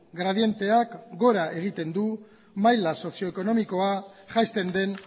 gradienteak gora egiten du maila sozio ekonomikoa jaisten den